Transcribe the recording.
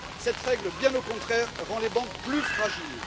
Cette règle, bien au contraire, rend les banques plus fragiles.